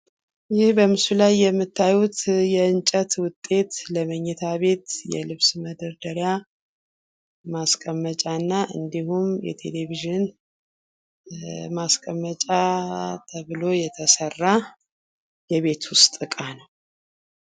ይህ በምስሉ ላይ የምታዩት የእንጨት ውጤት ለምኝታቤት የልብስ መደርደርያ ማስቀመጫ እና እንዲሁም የቴሌቪዥን ማስቀመጫ ተብሎ የተሰራ የቤት ውስጥ እቃ ነው ።